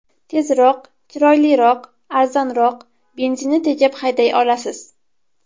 Tezroq, chiroyliroq, arzonroq, benzinni tejab hayday olasiz.